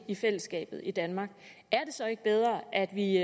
i fællesskabet i danmark er det så ikke bedre at vi